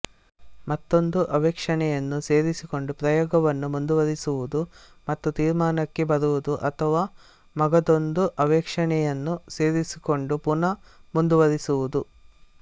ಮತ್ತೊಂದು ಅವೇಕ್ಷಣೆಯನ್ನು ಸೇರಿಸಿಕೊಂಡು ಪ್ರಯೋಗವನ್ನು ಮುಂದುವರಿಸುವುದು ಮತ್ತು ತೀರ್ಮಾನಕ್ಕೆ ಬರುವುದು ಅಥವಾ ಮಗದೊಂದು ಅವೇಕ್ಷಣೆಯನ್ನು ಸೇರಿಸಿಕೊಂಡು ಪುನಃ ಮುಂದುವರಿಸುವುದು